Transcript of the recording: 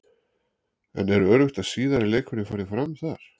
En er öruggt að síðari leikurinn fari fram þar?